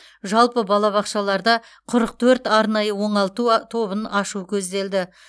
жалпы балабақшаларда құрық төрт арнайы оңалту а тобын ашу көзделді